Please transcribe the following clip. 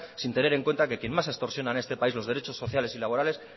sin tener en cuenta que quien más extorsiona en este país los derechos sociales y laborales